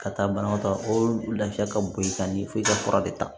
Ka taa banabatɔ lafiya ka bon ka ɲɛ f'i ka fura de ta